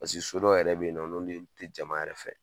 Pase so dow yɛrɛ bɛ yen nɔ, n'olu yu tɛ jama yɛrɛ fɛ.